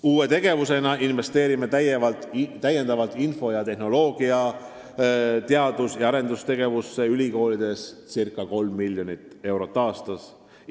Uue tegevusena investeerime täiendavalt info- ja kommunikatsioonitehnoloogia teadus- ja arendustegevusse ülikoolides ca 3 miljonit eurot aastas.